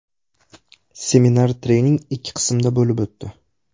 Seminar-trening ikki qismda bo‘lib o‘tdi.